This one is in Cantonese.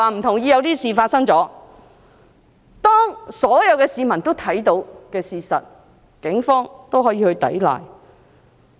對於所有市民都看到的事實，警方都可以否認。